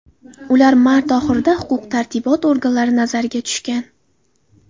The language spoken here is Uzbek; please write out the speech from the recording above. Ular mart oxirida huquq-tartibot organlari nazariga tushgan.